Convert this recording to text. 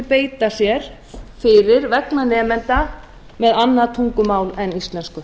beita sér fyrir vegna nemenda með annað tungumál en íslensku